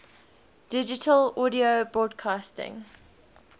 digital audio broadcasting